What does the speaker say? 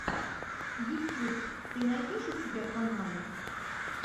ютьюб ты найдешь у себя каналы